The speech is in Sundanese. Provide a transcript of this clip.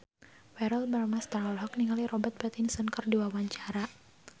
Verrell Bramastra olohok ningali Robert Pattinson keur diwawancara